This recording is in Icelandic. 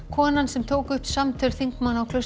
konan sem tók upp samtöl þingmanna á